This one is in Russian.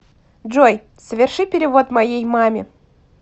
джой соверши перевод моей маме